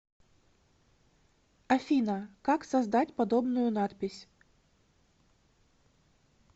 афина как создать подобную надпись